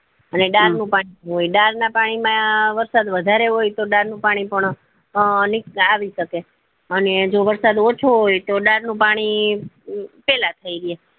અને ડાર નું પાણી હોય ડાર ના પાણી માં વરસાદ વધારે હોય તો ડાર નું પાણી પણ આ આવી શકે છે અને જો વરસાદ ઓછો હોય તો ડાર નું પાણી પેલા